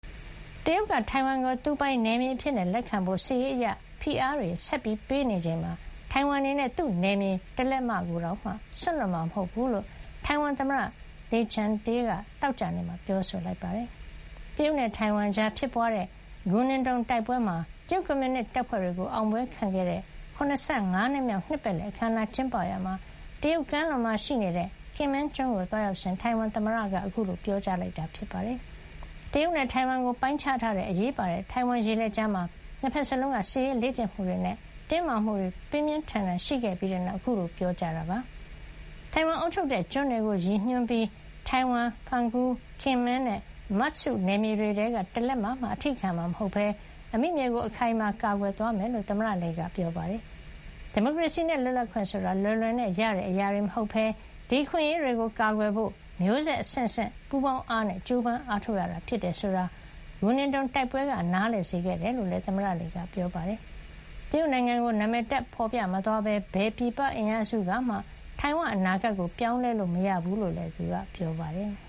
တရုတ်က ထိုင်ဝမ်ကို သူပိုင်နယ်မြေအဖြစ်လက်ခံဖို့ စစ်ရေးအရ ဖိအားတွေ ဆက်ပေးနေချိန်မှာ ထိုင်ဝမ်အနေနဲ့ သူ့နယ်မြေ တလက်မ ကိုတောင်မှ စွန့်လွှတ်မှာ မဟုတ်ဘူးလို့ ထိုင်ဝမ်သမ္မတ Lai Ching-te က သောကြာနေ့က ပြောဆိုလိုက်ပါတယ်။ တရုတ်နဲ့ ထိုင်ဝမ်ကြားဖြစ်ပွားတဲ့ Guningtou (ဂူနင်တုံ)တိုက်ပွဲမှာ တရုတ်ကွန်မြူနစ်တပ်ဖွဲ့တွေကို အောင်ပွဲခံခဲ့တဲ့ ၇၅ နှစ်မြောက် နှစ်ပတ်လည်အခမ်းအနား ကျင်းပရာ (တရုတ်ကမ်းလွန်) Kinmen ကျွန်းကို သွားရောက်စဥ်အတွင်း ထိုင်ဝမ်သမ္မတ Lai က ခုလို ပြောကြားခဲ့တာပါ။ တရုတ်နဲ့ ထိုင်ဝမ်ကို ပိုင်းခြားထားတဲ့ အရေးပါတဲ့ ထိုင်ဝမ်ရေလက်ကြားမှာ နှစ်ဘက်လုံးက စစ်ရေးလေ့ကျင့်မှုတွေနဲ့ တင်းမာမှုတွေ ပြင်းပြင်းထန်ထန် ရှိခဲ့ပြီးတဲ့နောက် ခုလို ပြောကြားတာလည်း ဖြစ်ပါတယ်။ ထိုင်ဝမ်အုပ်ချုပ်တဲ့ ကျွန်းတွေကို ရည်ညွန်းပြီး Taiwan ၊ Penghu ၊ Kinmen နဲ့ Matsu နယ်မြေတွေထဲက တလက်မ ကိုတောင်မှ အထိခံမှာ မဟုတ်ဘဲ အမိမြေကို အခိုင်အမာ ကာကွယ်သွားမယ်လို့ သူ့မိန့်ခွန်းထဲမှာ သမ္မတ Lai က ပြောကြားသွားပါတယ်။ ဒီမိုကရေစီနဲ့ လွတ်လပ်ခွင့်ဆိုတာ လွယ်လွယ်နဲ့ရတဲ့ အရာတွေ မဟုတ်ဘဲ ဒီအခွင့်အရေးတွေကို ကာကွယ်ဖို့ မျိုးဆက်အဆင့်ဆင့် ပူးပေါင်းအားနဲ့ ကြိုးပမ်းအားထုတ်ကြရတာ ဖြစ်တယ်ဆိုတာကို ဂူနင်တုံ တိုက်ပွဲက ထိုင်ဝမ်သူထိုင်ဝမ်သားတွေကို နားလည်စေခဲ့တယ်လို့လည်း သမ္မတ Lai က ပြောပါတယ်။ တရုတ်နိုင်ငံကို နာမည်တပ် ဖော်ပြမသွားဘဲ၊ ဘယ်ပြည်ပ အင်အားစုကမှ ထိုင်ဝမ်ရဲ့ အနာဂတ်ကို ပြောင်းလဲလို့ မရဘူးလို့လည်း သူက ပြောပါတယ်။